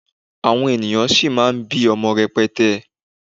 àwọn ènìyàn sì má bi ọmọ rẹpẹtẹ